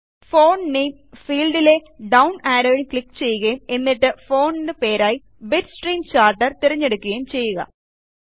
font നാമെ ഫീൽഡിലെ down ആരോയിൽ ക്ലിക്ക് ചെയ്യുകയും എന്നിട്ട് ഫോണ്ട് പേരായി ബിറ്റ്സ്ട്രീം ചാർട്ടർ തിരഞ്ഞെടുക്കുകയും ചെയ്യുക